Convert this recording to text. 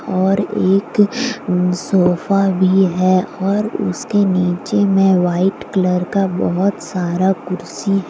और एक सोफा भी है और उसके नीचे में वाइट कलर का बहुत सारा कुर्सी--